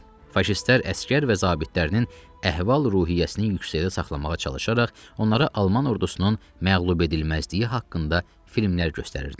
Faşistlər əsgər və zabitlərinin əhval-ruhiyyəsinin yüksəkdə saxlamağa çalışaraq onlara alman ordusunun məğlubedilməzliyi haqqında filmlər göstərirdilər.